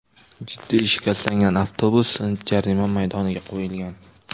Jiddiy shikastlangan avtobus jarima maydoniga qo‘yilgan.